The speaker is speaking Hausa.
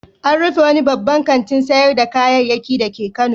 An rufe wani babban kantin sayar da kayayyaki dake Kano.